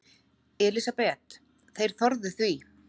Elísabet: Þeir þorðu því?